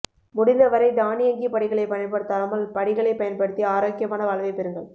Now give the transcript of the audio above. முடிந்தவரை தானியங்கி படிகளை பயன்படுத்தாமல் படிகலை பயன்படுத்தி ஆரோக்கியமான வாழ்வை பெறுங்கள்